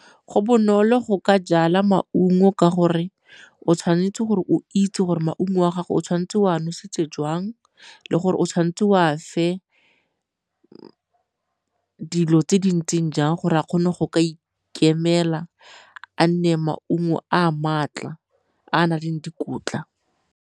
Go bonolo go ka jala maungo ka gore o tshwanetse gore o itse gore maungo a gago o tshwanetse wa nosetse jwang le gore o tshwanetse wa fe dilo tse di ntseng jang gore a kgone go ka ikemela a nne maungo a a maatla a a nang le dikotla.